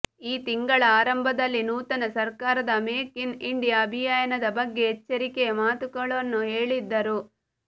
ಈ ತಿಂಗಳ ಆರಂಭದಲ್ಲಿ ನೂತನ ಸರ್ಕಾರದ ಮೇಕ್ ಇನ್ ಇಂಡಿಯಾ ಅಭಿಯಾನದ ಬಗ್ಗೆ ಎಚ್ಚರಿಕೆಯ ಮಾತುಗಳನ್ನು ಹೇಳಿದ್ದರು